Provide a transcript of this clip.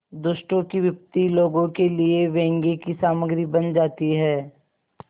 दुष्टों की विपत्ति लोगों के लिए व्यंग्य की सामग्री बन जाती है